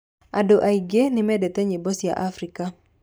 Andũ aingĩ nĩmendete nyiĩmbo cia Afrika.